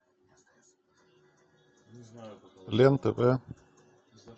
лен тв